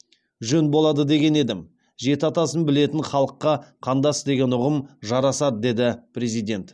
жөн болады деген едім жеті атасын білетін халыққа қандас деген ұғым жарасады деді президент